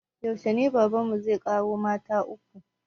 Yaushe ne baban mu zai ƙaro mata ta uku?